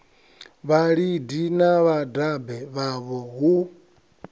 vhalidi na vhadabe vhavho hu